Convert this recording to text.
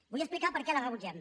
vull explicar per què la rebutgem